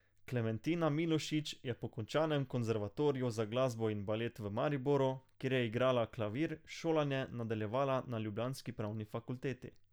Klementina Milošič je po končanem Konservatoriju za glasbo in balet v Mariboru, kjer je igrala klavir, šolanje nadaljevala na ljubljanski pravni fakulteti.